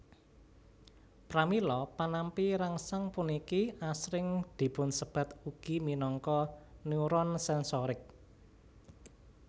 Pramila panampi rangsang puniki asring dipunsebat ugi minangka neuron sensorik